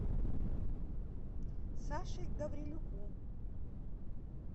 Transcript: саше гаврилюку